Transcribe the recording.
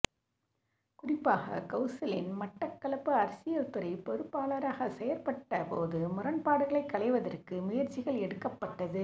குறிப்பாக கெளசல்யன் மட்டக்களப்பு அரசியல்துறைப்பொறுப்பாளராக செயற்பட்ட போது முரண்பாடுகளைக் களைவதற்க்கு முயற்சிகள்எடுக்கப்பட்டது